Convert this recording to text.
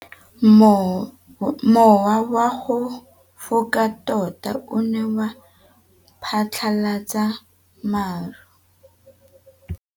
Mowa o wa go foka tota o ne wa phatlalatsa maru.